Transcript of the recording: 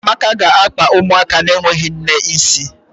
Amaka ga-akpa ụmụaka na-enweghị nne isi